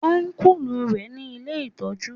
Ọ́nkùlù rẹ ní ilé ìtọ́jú